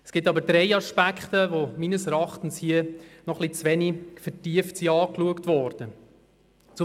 Es gibt aber drei Aspekte, die hier meines Erachtens noch zu wenig vertieft angeschaut worden sind.